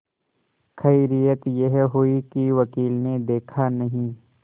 खैरियत यह हुई कि वकील ने देखा नहीं